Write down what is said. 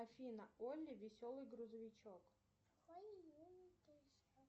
афина олли веселый грузовичок